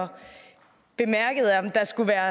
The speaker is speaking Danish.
og bemærket om der skulle være